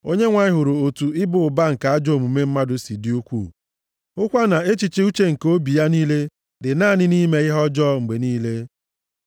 Onyenwe anyị hụrụ otu ịba ụba nke ajọ omume mmadụ si dị ukwuu, hụkwa na echiche uche nke obi ya niile dị naanị nʼime ihe ọjọọ, mgbe niile.